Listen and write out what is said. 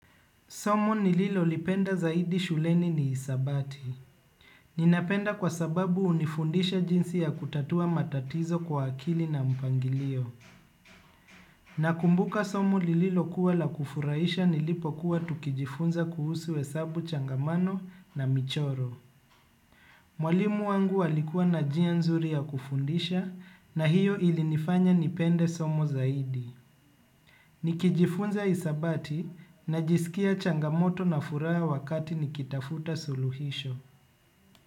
Somo nililo lipenda zaidi shuleni ni hisabati. Ninapenda kwa sababu hunifundisha jinsi ya kutatua matatizo kwa akili na mpangilio. Nakumbuka somo lililo kuwa la kufurahisha nilipo kuwa tukijifunza kuhusu hesabu changamano na michoro. Mwalimu wangu alikuwa na njia nzuri ya kufundisha na hiyo ilinifanya nipende somo zaidi. Nikijifunza hisabati najiskia changamoto na furaha wakati nikitafuta suluhisho.